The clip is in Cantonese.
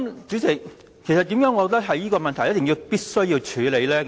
主席，為何我認為這問題必須處理呢？